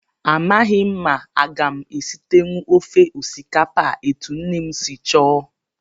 Amaghị m ma aga m esitenwu ofe osikapa a etu nne m si chọọ